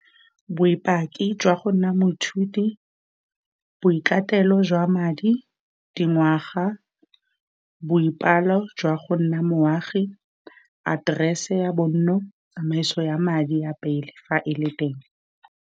Boipaki jwa go nna moithuti, boikatelo jwa madi, dingwaga, boipalo jwa go nna moagi, address-e ya bonno, tsamaiso ya madi a pele, fa e le teng.